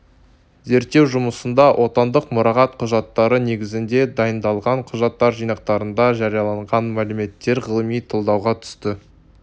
зерттеу жұмысында отандық мұрағат құжаттары негізінде дайындалған құжаттар жинақтарында жарияланған мәліметтер ғылыми талдауға түсті